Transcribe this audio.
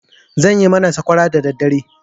Zan yi mana sakwara dadaddare.